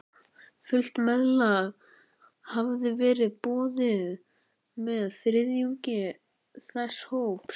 Fullt meðlag hafði verið boðið með þriðjungi þess hóps.